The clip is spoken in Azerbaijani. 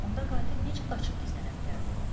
Onda qatil necə qaçıb gizlənə bilərdi?